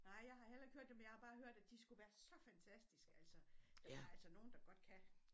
Nej jeg har heller ikke hørt dem men jeg har bare hørt at de skulle være så fantastiske altså jamen der er altså nogen der godt kan